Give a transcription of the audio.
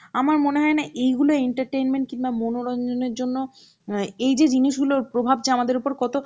আমার মনে হয়েনা এই গুলো entertainment কিনবা মনোরঞ্জনের জন্য অ্যাঁ এই যে জিনিস গুলো প্রভাব যে আমাদের ওপর কত